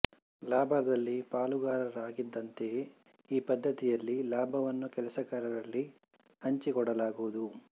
ಲಾಭದಲ್ಲಿ ಪಾಲುಗಾರರಿದ್ದಂತೆಯೇ ಈ ಪದ್ಧತಿಯಲ್ಲಿ ಲಾಭವನ್ನು ಕೆಲಸಗಾರರಲ್ಲಿ ಹಂಚಿ ಕೊಡಲಾಗುವುದು